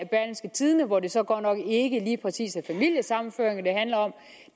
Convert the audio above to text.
hvor det så godt nok ikke lige præcis er familiesammenføringer det handler om